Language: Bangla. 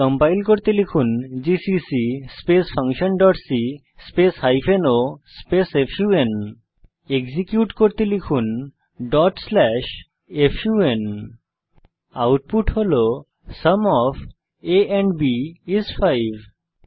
কম্পাইল করতে লিখুন GCC function dot c hyphen o fun execute করতে লিখুন dot slash fun output sum of a and b is 5 হিসাবে প্রদর্শিত হয়েছে